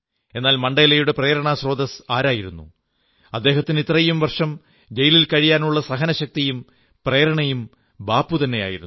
എന്നാൽ മണ്ഡേലയുടെ പ്രേരണാസ്രോതസ്സ് ആരായിരുന്നു അദ്ദേഹത്തിന് ഇത്രയും വർഷം ജയിലിൽ കഴിയാനുള്ള സഹനശക്തിയും പ്രേരണയും ബാപ്പുതന്നെ ആയിരുന്നു